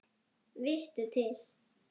Vittu til!